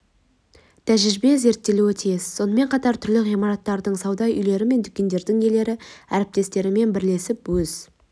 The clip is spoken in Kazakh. тәжірибе зерттелуге тиіс сонымен қатар түрлі ғимараттардың сауда үйлері мен дүкендердің иелері әріптестерімен бірлесіп өз